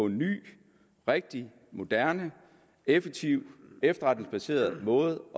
ny rigtig moderne og effektiv efterretningsbaseret måde